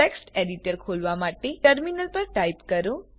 text editor ખોલવા માટે ટર્મિનલની પર ટાઈપ કરો